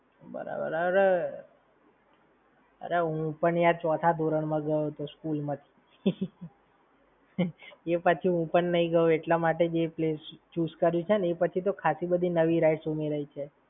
બરાબર. અરે, હું પણ યાર ચોથા ધોરણ માં ગયો તો school માંથી, એ પછી હું પણ નઈ ગયો એટલા માટે જ એ place choose કર્યું છે ને આછી તો ખાંસી બધી નવી rides ઉમેરાઈ છે.